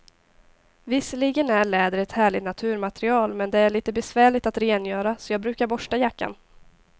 Visserligen är läder ett härligt naturmaterial, men det är lite besvärligt att rengöra, så jag brukar borsta jackan.